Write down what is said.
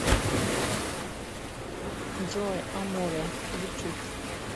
джой аморе ютуб